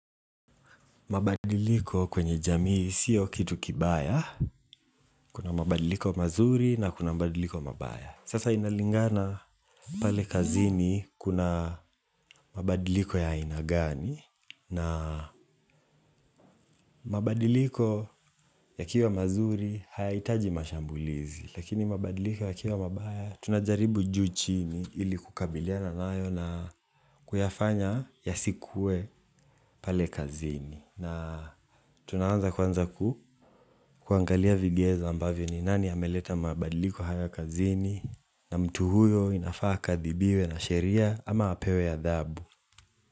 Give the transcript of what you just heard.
Mabadiliko kwenye jamii sio kitu kibaya, kuna mabadiliko mazuri na kuna mabadiliko mabaya. Sasa inalingana pale kazini kuna mabadiliko ya aina gani na mabadiliko yakiwa mazuri hayahitaji mashambulizi. Lakini mabadiliko yakiwa mabaya tunajaribu juu chini ili kukabiliana nayo na kuyafanya yasikuwe pale kazini. Na tunaanza kwanza kuangalia vigezo ambavyo ni nani ameleta mabadiliko haya kazini na mtu huyo inafaa akathibiwe na sheria ama apewe adhabu.